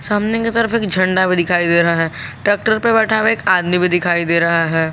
सामने की तरफ एक झंडा भी दिखाई दे रहा है ट्रैक्टर पे बैठा हुआ एक आदमी भी दिखाई दे रहा है।